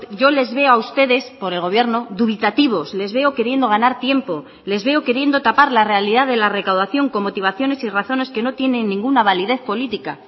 yo les veo a ustedes por el gobierno dubitativos les veo queriendo ganar tiempo les veo queriendo tapar la realidad de la recaudación con motivaciones y razones que no tienen ninguna validez política